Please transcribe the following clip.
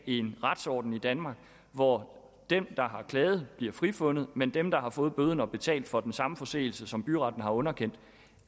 en retsorden i danmark hvor dem der har klaget bliver frifundet mens dem der har fået bøden har betalt for den samme forseelse som byretten har underkendt